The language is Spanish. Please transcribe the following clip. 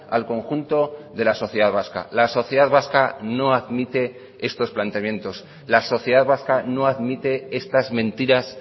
al conjunto de la sociedad vasca la sociedad vasca no admite estos planteamientos la sociedad vasca no admite estas mentiras